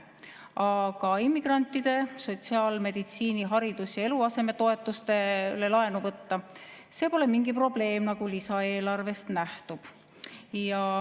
Aga immigrantide sotsiaal‑, meditsiini‑, haridus‑ ja eluasemetoetuste tarvis laenu võtta – see pole mingi probleem, nagu lisaeelarvest nähtub.